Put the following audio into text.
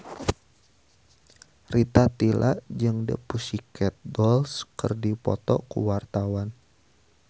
Rita Tila jeung The Pussycat Dolls keur dipoto ku wartawan